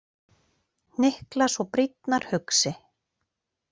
Hnyklar svo brýnnar hugsi.